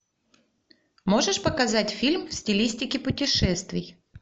можешь показать фильм в стилистике путешествий